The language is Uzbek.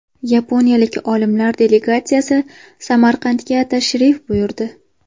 Yaponiyalik olimlar delegatsiyasi Samarqandga tashrif buyurdi.